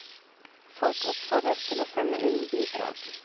Folk oppfordres til å sende inn bidrag.